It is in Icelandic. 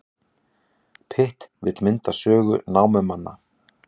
Pitt vill mynda sögu námumannanna